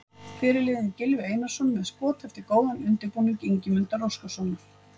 Fyrirliðinn Gylfi Einarsson með skot yfir eftir góðan undirbúning Ingimundar Óskarssonar.